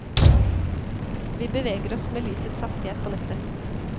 Vi beveger oss med lysets hastighet på nettet.